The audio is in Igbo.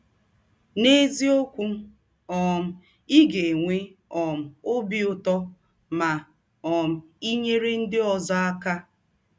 N’eziọkwụ, um ị ga - enwe um ọbi ụtọ ma um i nyere ndị ọzọ aka!